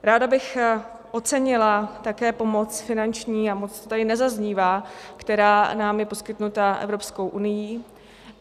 Ráda bych ocenila také pomoc finanční, a moc to tady nezaznívá, která nám je poskytnuta Evropskou unií.